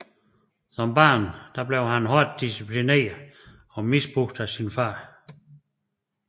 Som barn blev han hårdt disciplineret og misbrugt af sin far